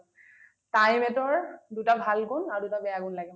time eight ৰ দুটা ভাল গুণ আৰু দুটা বেয়া গুণ লাগে ।